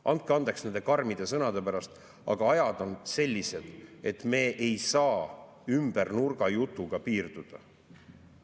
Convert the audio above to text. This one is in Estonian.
Andke andeks nende karmide sõnade pärast, aga ajad on sellised, et me ei saa ümbernurgajutuga piirduda.